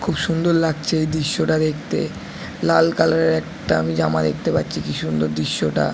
খুব সুন্দর লাগছে এই দৃশ্যটা দেখতে লাল কালারের একটা আমি জামা দেখতে পাচ্ছি কি সুন্দর দৃশ্যটা।